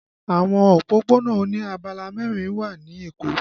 Àwọn òpópónà oní abala mẹrin wà ní Èkó